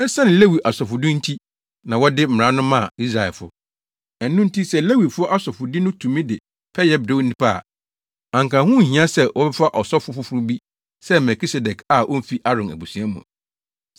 Esiane Lewi asɔfodi nti na wɔde Mmara no maa Israelfo. Ɛno nti sɛ Lewifo asɔfodi no tumi de pɛyɛ brɛ nnipa a, anka ho nhia sɛ wɔbɛfa ɔsɔfo foforo bi sɛ Melkisedek a omfi Aaron abusua mu.